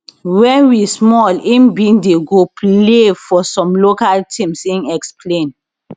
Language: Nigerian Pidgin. wen we small im bin dey go play for some local teams im explain